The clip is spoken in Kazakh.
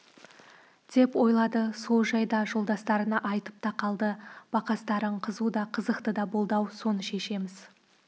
деп ойлады сол жайда жолдастарына айтып та қалды бақастарың қызу да қызықты да болды-ау соны шешеміз